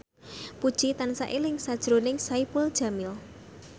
Puji tansah eling sakjroning Saipul Jamil